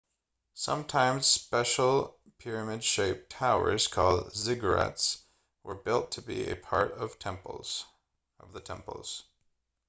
sometimes special pyramid shaped towers called ziggurats were built to be a part of the temples